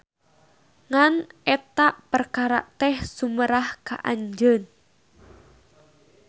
Ngan eta perkara teh sumerah ka anjeun.